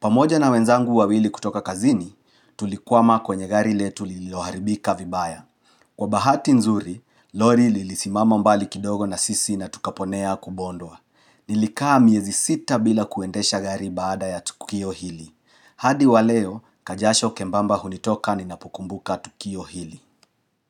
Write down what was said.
Pamoja na wenzangu wawili kutoka kazini, tulikuwa makwenye gari letu liloharibika vibaya. Kwa bahati nzuri, Lori li lisimama mbali kidogo na sisi na tukaponea kubondwa. Nilikaa miezi sita bila kuendesha gari baada ya Tukio Hili. Hadi waleo, kajasho kembamba hunitoka ni napokumbuka Tukio Hili.